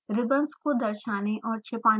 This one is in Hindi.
ribbons को दर्शाने और छिपाने के लिए